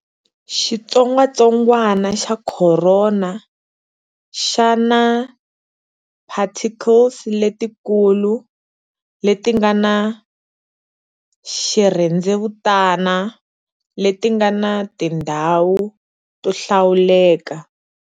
Xitsongatsongwana xa khorona xa naparticles letikulu, leti nga na xirhendzevutani leti nga na tindhawu to hlawuleka.